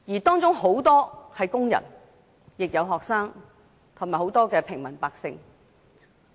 當中有很多是工人，也有學生和平民百姓。